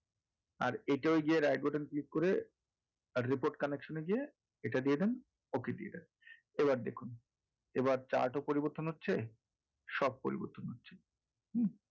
আর এটা ঐযে right button click করে আর report connection এ গিয়ে এটা দিয়ে দেন okay দিয়ে দেন এবার দেখুন এবার chart ও পরিবর্তন হচ্ছে সব পরিবর্তন হচ্ছে হুম?